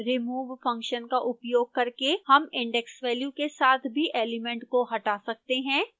remove function का उपयोग करके हम index value के साथ भी एलिमेंट को हटा सकते हैं